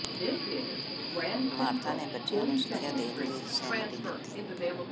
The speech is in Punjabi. ਮਾਰਥਾ ਨੇ ਬੱਚਿਆਂ ਨੂੰ ਸਿੱਖਿਆ ਦੇਣ ਲਈ ਸਹਿਮਤੀ ਦਿੱਤੀ